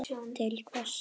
til hvers.